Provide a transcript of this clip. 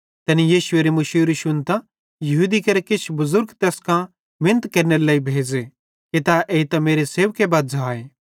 तैनी यीशुएरी मुशूरी शुन्तां यहूदी केरे किछ बुज़ुर्ग तैस कां मिनत केरनेरे लेइ भेज़े कि तै एइतां मेरो सेवक बज़्झ़ाए